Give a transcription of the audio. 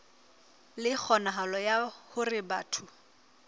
le kgonahalo ya hore batho